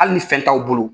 Hali ni fɛn t'aw bolo